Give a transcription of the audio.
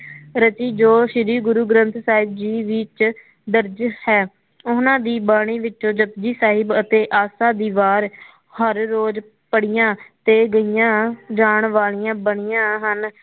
ਰਚੀ ਜੋ ਸ਼੍ਰੀ ਗੁਰੂ ਗ੍ਰੰਥ ਸਾਹਿਬ ਜੀ ਵਿੱਚ ਦਰਜ ਹੈ ਉਹਨਾ ਦੀ ਬਾਣੀ ਵਿਚੋਂ ਜੱਪਜੀ ਸਾਹਿਬ ਅਤੇ ਆਸਾ ਦੀ ਵਾਰ ਹਰ ਰੋਜ਼ ਪੜਿਆ ਤੇ ਗਈਆ ਜਾਣ ਵਾਲਿਆ ਬਣਿਆ ਹਨ